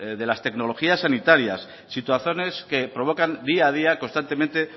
de las tecnologías sanitarias situaciones que provocan día a día constantemente